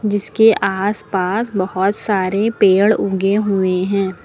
जिसके आस पास बहोत सारे पेड़ उगे हुए हैं।